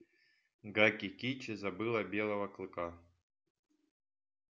гаки кичи забыла белого клыка